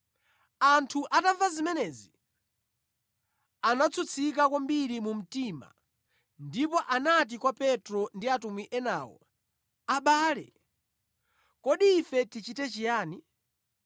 Anthu atamva zimenezi, anatsutsika kwambiri mu mtima ndipo anati kwa Petro ndi atumwi enawo, “Abale, kodi ife tichite chiyani?”